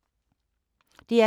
DR K